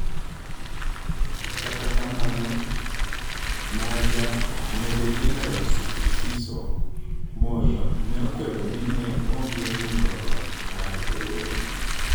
Kata kamano, Maja Jeneral Sibusiso Moyo ne okwedo ni ne ongee mulo loch mar jolweny.